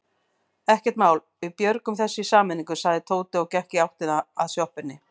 Ekkert mál, við björgum þessu í sameiningu sagði Tóti og gekk í áttina að sjoppunni.